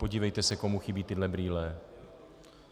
Podívejte se, komu chybí tyhle brýle.